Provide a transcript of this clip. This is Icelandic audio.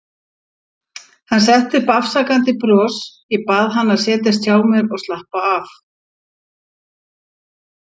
Hann setti upp afsakandi bros, ég bað hann að setjast hjá mér og slappa af.